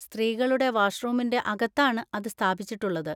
സ്ത്രീകളുടെ വാഷ്‌റൂമിൻ്റെ അകത്താണ് അത് സ്ഥാപിച്ചിട്ടുള്ളത്.